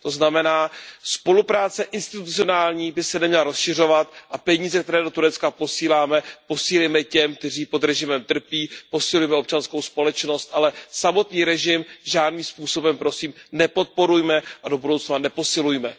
To znamená, že spolupráce institucionální by se neměla rozšiřovat a peníze, které do Turecka posíláme, posílejme těm, kteří pod režimem trpí, posilujme občanskou společnost, ale samotný režim žádným způsobem, prosím, nepodporujme a do budoucna neposilujme.